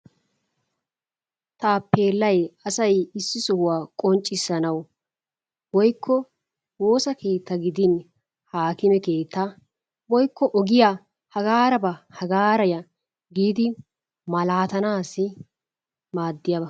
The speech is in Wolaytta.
Tappelay asay issi sohuwaa qonchisanawu woyko wossaa kettaa gidinni hakkimmee keettaa woykko ogiyaa hagara ba hagaraa ya gidi malatanassi maadiyabaa.